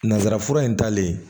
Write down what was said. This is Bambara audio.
Nanzara fura in talen